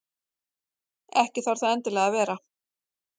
Ekki þarf það endilega að vera.